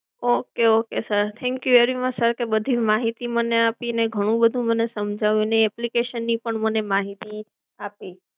okay okay sir thank you very much sir કે બધી માહિતી મને આપી ને ઘણું બધું સમજાવ્યું ને application ની માહિતી આપી.